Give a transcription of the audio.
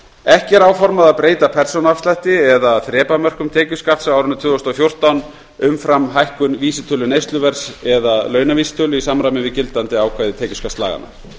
ekki er áformað að breyta persónuafslætti eða þrepamörkum tekjuskatts á árinu tvö þúsund og fjórtán umfram hækkun vísitölu neysluverðs eða launavísitölu í samræmi við gildandi ákvæði tekjuskattslaganna